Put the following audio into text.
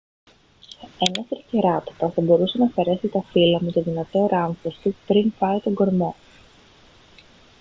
ένας τρικεράτοπας θα μπορούσε να αφαιρέσει τα φύλλα με το δυνατό ράμφος του πριν φάει τον κορμό